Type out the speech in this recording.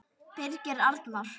Birgir Arnar.